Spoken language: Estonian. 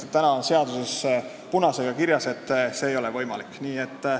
Sellepärast, et seaduses on punasega kirjas, et see ei ole võimalik.